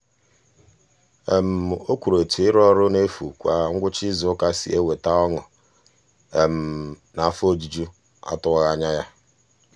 o kwuru etu ịrụ ọrụ n'efu kwa ngwụcha izuụka si eweta ọṅụ naa afọ ojuju atụwaghị anya ya.